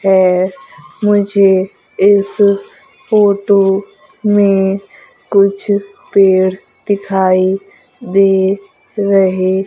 है मुझे इस फोटो में कुछ पेड़ दिखाई दे रहे--